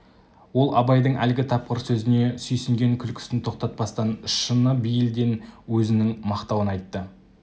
ол абайдың әлгі тапқыр сөзіне сүйсінген күлкісін тоқтатпастан шыны бейілден өзінің мақтауын айтты